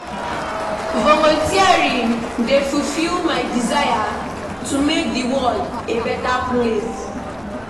Volunteering dey fulfill my desire to make the world a better place.